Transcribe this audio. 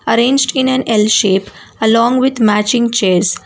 arranged in an l shape along with matching chairs.